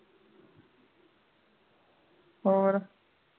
ਹੋਰ